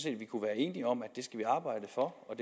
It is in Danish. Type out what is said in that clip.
at vi kunne være enige om at det skal vi arbejde for og